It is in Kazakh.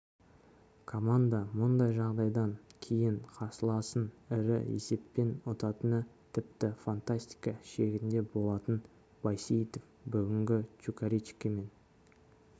команда мұндай жағдайдан кейін қарсыласын ірі есеппен ұтатыны тіпті фантастика шегінде болатын байсейітов бүгінгі чукаричкимен